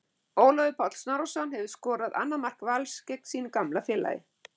Ólafur Páll Snorrason hefur skorað annað mark Vals gegn sínu gamla félagi.